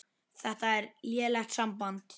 Þetta er lélegt samband